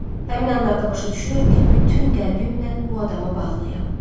Həmin anlarda başa düşürəm ki, bütün qəlbimlə bu adama bağlıyam.